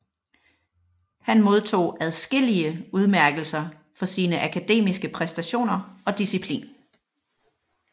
Han modtog adskillige udmærkelser for sine akademiske præstationer og disciplin